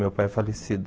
Meu pai é falecido.